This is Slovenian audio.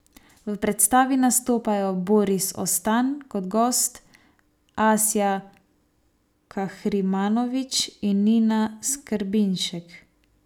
V predstavi nastopajo Boris Ostan kot gost, Asja Kahrimanović in Nina Skrbinšek.